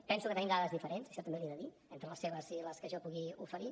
penso que tenim dades diferents això també l’hi he de dir entre les seves i les que jo pugui oferir